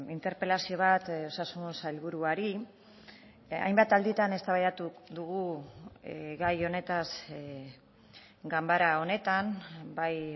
interpelazio bat osasun sailburuari hainbat alditan eztabaidatu dugu gai honetaz ganbara honetan bai